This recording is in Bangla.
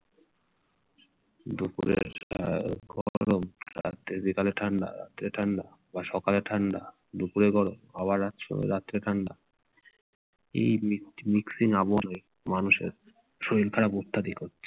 দুপুরে আহ গরম, রাত্রে বিকালে ঠান্ডা বা সকালে ঠান্ডা দুপুরে গরম আবার রাত্রে ঠান্ডা, এই mixing আবহাওয়ায় মানুষের শরীর খারাপ অত্যাধিক হচ্ছে।